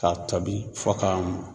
Ka tobi fo ka mɔn.